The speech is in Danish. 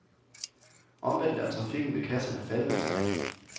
Omvendt er trafikken ved kasserne faldende, sagde han.